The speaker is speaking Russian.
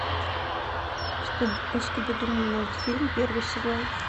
скуби ду мультфильм первый сезон